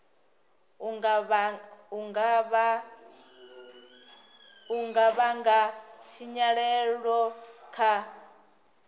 u nga vhanga tshinyalelo kha